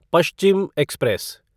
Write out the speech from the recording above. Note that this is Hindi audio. पश्चिम एक्सप्रेस